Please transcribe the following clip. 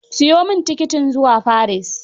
Siyo min tikitin zua Paris